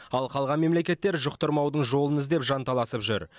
ал қалған мемлекеттер жұқтырмаудың жолын іздеп жанталасып жүр